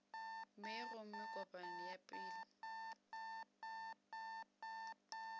mei gomme kopano ya pele